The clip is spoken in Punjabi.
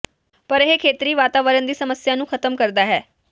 ਪਰ ਇਹ ਖੇਤਰੀ ਵਾਤਾਵਰਣ ਦੀ ਸਮੱਸਿਆ ਨੂੰ ਖਤਮ ਕਰਦਾ ਹੈ